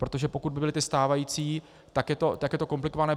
Protože pokud by byly ty stávající, tak je to komplikované.